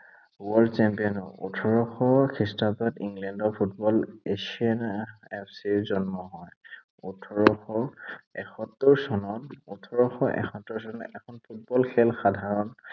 world champion ওঠৰশ খ্ৰীষ্টাব্দত ইংলেণ্ডত ফুটবল এচিয়ানা FC ৰ জন্ম হয়। ওঠৰশ এসত্তৰ চনত, ওঠৰশ এসত্তৰ চনত এখন ফুটবল খেল সাধাৰণ